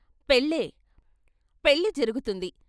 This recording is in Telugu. "పెళ్ళే పెళ్ళి జరుగుతుంది...